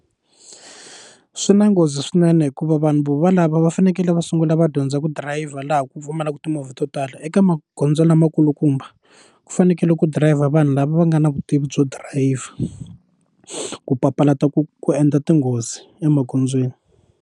Swi na nghozi swinene hikuva vanhu vo valavo va fanekele va sungula va dyondza ku dirayivha laha ku pfumalaka timovha to tala eka magondzo lamakulukumba ku fanekele ku dirayivha vanhu lava va nga na vutivi byo dirayivha ku papalata ku ku endla tinghozi emagondzweni.